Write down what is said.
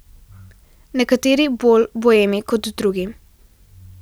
Nekateri bolj boemi kot drugi.